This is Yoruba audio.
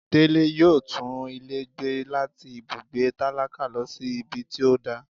Dele yóò tún ilé gbé latí ibùgbé tálákà lọ sí ibí tí o dà